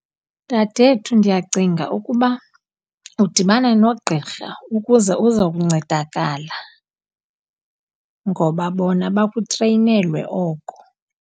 Dadethu, ndiyacinga ukuba udibane nogqirha ukuze uza kuncedakala, ngoba bona bakutreyinelwe oko.